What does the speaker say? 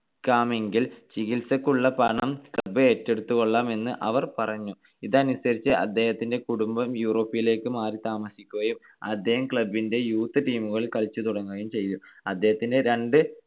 ക്കാമെങ്കിൽ ചികിത്സക്കുള്ള പണം club ഏറ്റെടുത്തുകൊള്ളാം എന്ന് അവർ പറഞ്ഞു. ഇതനുസരിച്ച് അദ്ദേഹത്തിന്റെ കുടുംബം യൂറോപ്പിലേക്ക് മാറിത്താമസിക്കുകയും അദ്ദേഹം club ന്റെ Youth Team കളിൽ കളിച്ച് തുടങ്ങുകയും ചെയ്‌തു. അദ്ദേഹത്തിന്റെ രണ്ട്